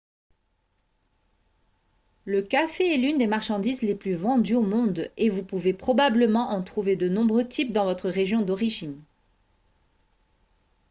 le café est l'une des marchandises les plus vendues au monde et vous pouvez probablement en trouver de nombreux types dans votre région d'origine